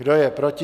Kdo je proti?